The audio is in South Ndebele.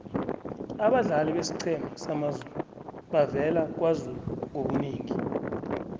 abadlali besiqhema samazulu bavela kwazulu ngobunengi